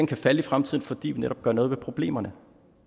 kan falde i fremtiden fordi vi netop gør noget ved problemerne